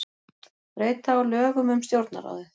Breyta á lögum um Stjórnarráðið